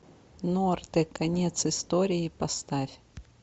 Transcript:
норте конец истории поставь